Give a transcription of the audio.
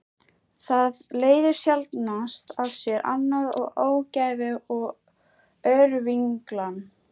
Það leiðir sjaldnast af sér annað en ógæfu og örvinglan.